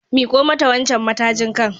Miko mata wancan matajin kan.